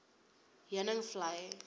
heuningvlei